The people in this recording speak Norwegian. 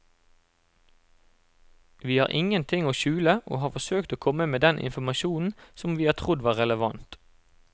Vi har ingen ting å skjule og har forsøkt å komme med den informasjonen som vi har trodd var relevant.